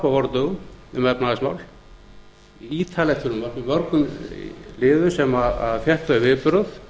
vordögum um efnahagsmál ítarlegt frumvarp í mörgum liðum sem fékk þau viðbrögð